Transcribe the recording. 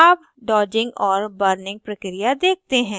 अब dodging और burning प्रक्रिया देखते हैं